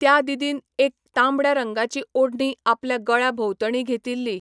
त्या दिदीन एक तांबड्या रंगाची ओढणी आपल्या गळ्या भोंवतणी घेतिल्ली.